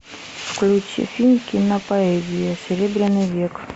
включи фильм кинопоэзия серебряный век